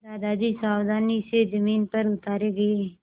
दादाजी सावधानी से ज़मीन पर उतारे गए